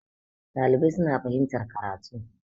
dalibai suna fahimtar karatu